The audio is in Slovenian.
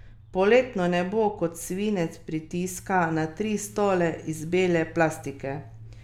Kev se ni zvijal zaradi razvozlavanja ali razčesavanja.